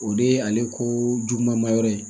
O de ye ale ko juguman ma yɔrɔ ye